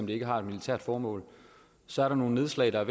det ikke har et militært formål så er der nogle nedslag der er